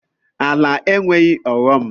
Ala enweghị ọghọm.